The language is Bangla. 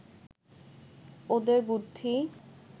ওদের বুদ্ধি